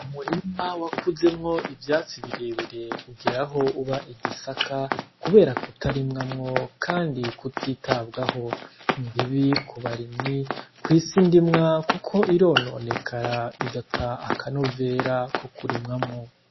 Umurima wakuzemwo ivyatsi birebire ugera aho uba igisaka kubera ukutarimwamwo kandi ukutitabwaho, ni bibi ku barimyi kw'isi ndimwa kuko irononekara igata akanovera ko kurimwamwo.